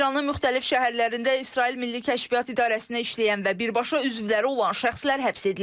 İranın müxtəlif şəhərlərində İsrail Milli Kəşfiyyat İdarəsində işləyən və birbaşa üzvləri olan şəxslər həbs edilib.